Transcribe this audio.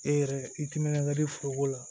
E yɛrɛ i timinankadi foroko la